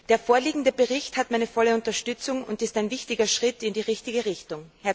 Der vorliegende Bericht hat meine volle Unterstützung und ist ein wichtiger Schritt in die richtige Richtung.